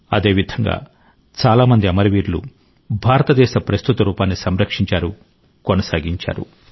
అదేవిధంగా చాలామంది అమరవీరులు భారతదేశ ప్రస్తుత రూపాన్ని సంరక్షించారు కొనసాగించారు